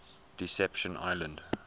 deception island